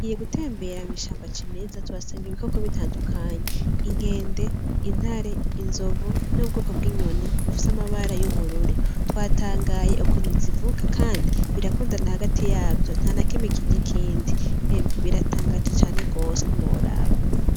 Tugiye gutembera mw'ishamba ryimezwa tuhasanga ibikoko bitadukanye, inkende, intare, inzovu n'ubwoko bw'inyoni bufise amabara y'ubururu, twatagaye ukuntu z'ivuga kandi birakunda hagati yavyo ntanakimwe kirya ikindi, imwe biratagaje cane gose ntiworaba.